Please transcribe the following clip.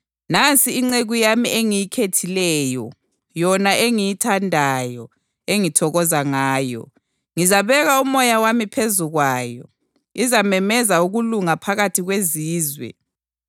“Nansi inceku yami engiyikhethileyo, yona engiyithandayo, engithokoza ngayo; ngizabeka uMoya wami phezu kwayo, izamemezela ukulunga phakathi kwezizwe.